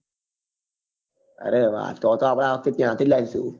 અરે વાહ તો તો આપડે આ વખતે ત્યાં થી લાવીસું